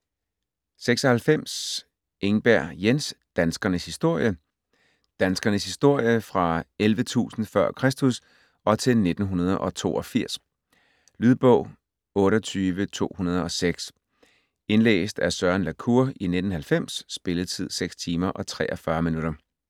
96 Engberg, Jens: Danskernes historie Danskernes historie fra 11.000 f. Kr. og til 1982. Lydbog 28206 Indlæst af Søren la Cour, 1990. Spilletid: 6 timer, 43 minutter.